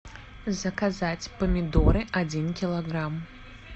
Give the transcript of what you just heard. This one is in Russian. заказать помидоры один килограмм